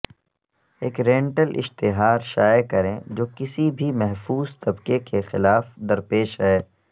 ایک رینٹل اشتھار شائع کریں جو کسی بھی محفوظ طبقے کے خلاف درپیش ہے